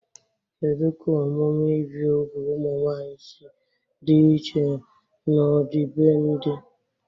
Kedu ka omume ibi úgwù ụmụ nwanyị si dị iche n'ọdịbendị?